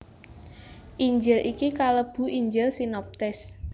Injil iki kalebu Injil sinoptis